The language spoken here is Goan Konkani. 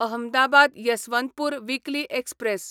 Ahmedabad Yesvantpur weekly express